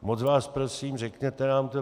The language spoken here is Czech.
Moc vás prosím, řekněte nám to.